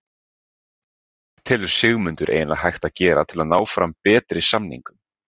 En hvað telur Sigmundur eiginlega hægt að gera til að ná fram betri samningum?